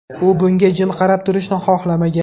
U bunga jim qarab turishni xohlamagan.